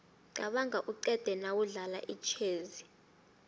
qabanga uqede nawudlala itjhezi